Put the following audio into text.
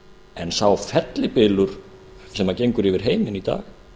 en sá fellibylur sem gengur yfir heiminn í dag